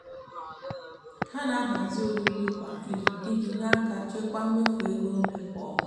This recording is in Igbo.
ha na-ahazi oriri kwa izu iji nyere aka chekwaa mmefu ego nri kwa ọnwa.